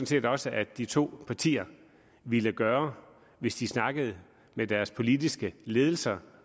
set også at de to partier ville gøre hvis de snakkede med deres politiske ledelse